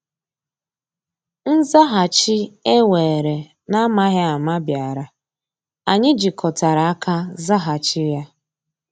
Nzàghàchì e weere n’amaghị ama bịàrà, anyị jikọtara aka zàghàchì ya.